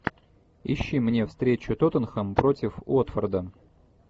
ищи мне встречу тоттенхэм против уотфорда